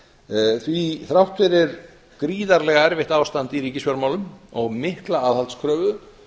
hrunárin því að þrátt fyrir gríðarlega erfitt ástand í ríkisfjármálum og mikla aðhaldskröfu